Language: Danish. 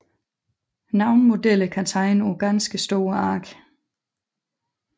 Nogle modeller kan tegne på ganske store ark